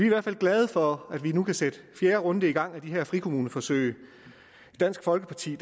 i hvert fald glade for at man nu kan sætte fjerde runde i gang af de her frikommuneforsøg i dansk folkeparti